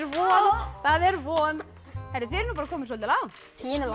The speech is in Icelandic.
von það er von þið eruð bara komin soldið langt